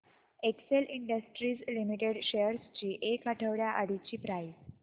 Excel industries limited shares ची एक आठवड्या आधीची प्राइस